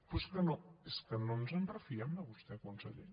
però és que no ens en refiem de vostè conseller